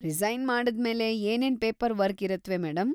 Resign ಮಾಡಾದ್ಮೇಲೆ ಏನೇನ್ paperwork ಇರುತ್ವೆ ಮೇಡಂ?